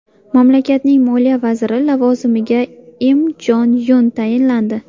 Mamlakatning moliya vaziri lavozimiga Im Jon Yun tayinlandi.